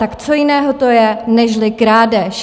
Tak co jiného to je nežli krádež?